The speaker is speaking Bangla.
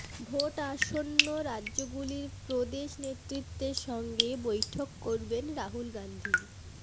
ভােটআসন্ন রাজ্যগুলির প্রদেশ নেতৃত্বের সঙ্গে বৈঠক করবেন রাহুল গান্ধি